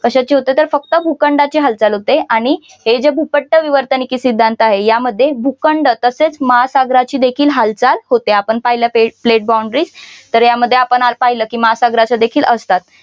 कशाची होते तर फक्त भूखंडांची हालचाल होते आणि हे जे भूपट्ट विवर्तनिकी सिद्धांत आहे यामध्ये भूखंड तसेच महासागराची देखील हालचाल होते आपण पाहिलं pledge boundaries तर यामध्ये आता आपण पाहिलं कि महासागराच्या देखील असतात.